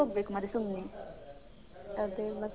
ಅದೇ. ಮತ್ತೆ?